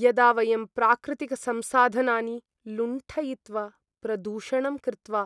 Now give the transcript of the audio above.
यदा वयं प्राकृतिकसंसाधनानि लुण्ठयित्वा प्रदूषणं कृत्वा